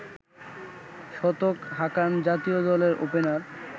শতক হাঁকান জাতীয় দলের ওপেনার